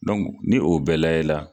ni o bɛɛ lajɛ la